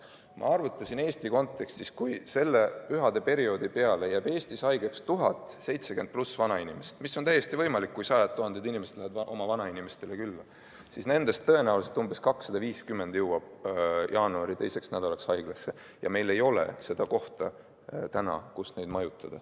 Ma arvutasin Eesti kontekstis, et kui pühadeperioodi tõttu jääb Eestis haigeks 1000 70+ vanainimest – mis on täiesti võimalik, kui sajad tuhanded inimesed lähevad oma vanainimestele külla –, siis nendest tõenäoliselt umbes 250 jõuab jaanuari teiseks nädalaks haiglasse ja meil ei ole seda kohta, kus neid majutada.